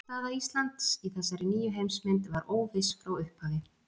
Staða Íslands í þessari nýju heimsmynd var óviss frá upphafi.